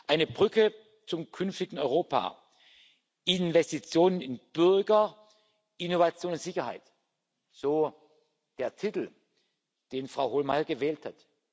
Eine Brücke zum künftigen Europa, Investitionen in Bürger, Innovation und Sicherheit so der Titel, den Frau Hohlmeier gewählt hat.